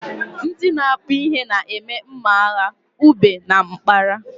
Ndị na akpu ihe na-eme mma agha ube na mkpara